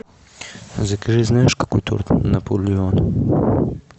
закажи знаешь какой торт наполеон